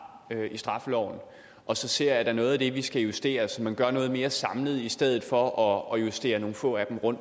i straffeloven og så ser der er noget af det vi skal justere så man gør noget mere samlet i stedet for at justere nogle få af dem